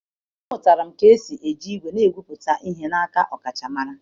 Amụtara m ka esi eji igwe na-egwupụta ihe n'aka ọkachamara.